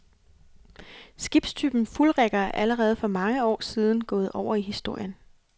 Skibstypen fuldrigger er allerede for mange år siden gået over i historien.